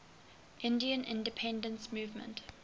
indian independence movement